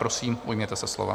Prosím, ujměte se slova.